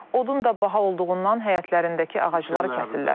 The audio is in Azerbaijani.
Odun da baha olduğundan həyətlərindəki ağacları kəsirlər.